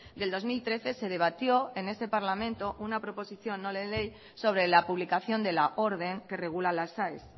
del dos mil trece se debatió en este parlamento una proposición no de ley sobre la publicación de la orden que regula las aes